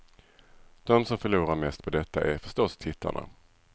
De som förlorar mest på detta är förstås tittarna.